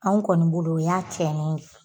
Anw kɔni bolo o ya tiɲɛnen ye.